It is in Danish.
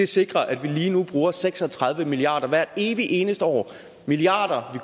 sikrer at vi lige nu bruger seks og tredive milliard kroner hvert evig eneste år milliarder